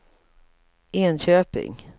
Enköping